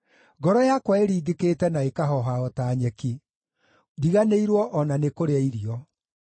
Ngoro yakwa ĩringĩkĩte na ĩkahooha o ta nyeki; ndiganĩirwo o na nĩ kũrĩa irio.